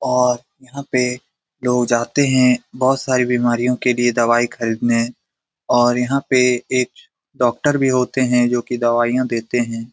और यहाँ पे लोग जाते हैं बहुत सारी बिमारियों के लिए दवाई खरीदने और यहाँ पे एक डॉक्टर भी होते हैं जो कि दवाइयाँ देते हैं ।